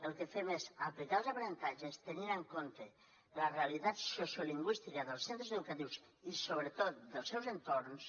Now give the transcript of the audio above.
el que fem és aplicar els aprenentatges tenint en compte la realitat sociolingüística dels centres educatius i sobretot dels seus entorns